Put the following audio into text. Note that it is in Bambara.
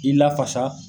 I lafasa